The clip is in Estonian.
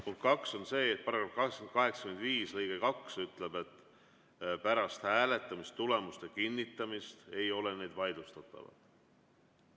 Punkt kaks on see, et § 85 lõige 2 ütleb, et pärast hääletamistulemuste kinnitamist ei ole need vaidlustatavad.